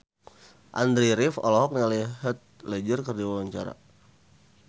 Andy rif olohok ningali Heath Ledger keur diwawancara